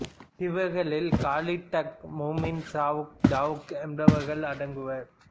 இவர்களில் காலிப் டாக் முமின் சாவுக் தாவுக் என்பவர்கள் அடங்குவர்